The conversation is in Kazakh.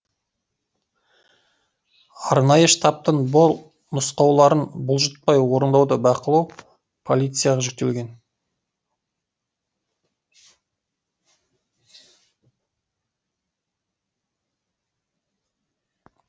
арнайы штабтың бұл нұсқауларын бұлжытпай орындауды бақылау полицияға жүктелген